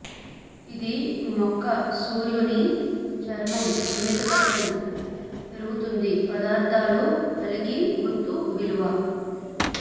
ఇది మొక్క సూర్యుని చర్మం సున్నితత్వం పెరుగుతుంది పదార్థాలు కలిగి గుర్తు విలువ